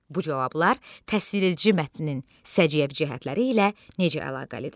Bu cavablar təsviredici mətnin səciyyəvi cəhətləri ilə necə əlaqəlidir?